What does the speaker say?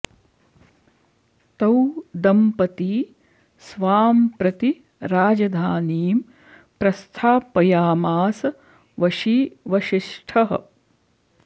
तौ दंपती स्वां प्रति राजधानीं प्रस्थापयामास वशी वसिष्ठः